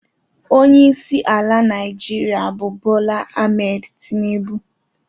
Ọnyeisi ala naijiria bụ Bola Ahmed Tinubụ.